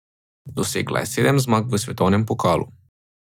Dosegla je sedem zmag v svetovnem pokalu.